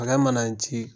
Akɛ mana ji